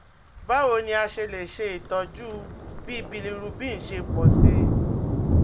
Báwo ni a ṣe lè ṣe itọju bí bilirubin ṣe pọ̀ sí i?